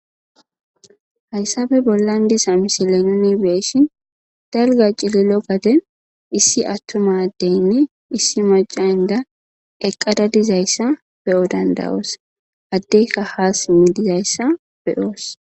Hayasfe bollan diza misilen beyishin dalga cililo xaden issi atuma adeynne issi maca inda eqada dizaysa be'o dada'os adeyka ha sime dizaysa be'os